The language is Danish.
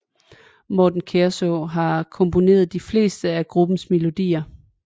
Morten Kærså har komponeret de fleste af gruppens melodier